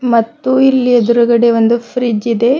ಮತ್ತು ಇಲ್ಲಿ ಎದುರ್ಗಡೆ ಒಂದು ಫ್ರಿಡ್ಜ್ ಇದೆ.